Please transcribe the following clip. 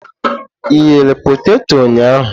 Ighe peteto ụnyahụ?